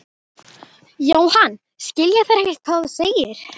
Jóhann: Skilja þeir ekkert hvað þú segir?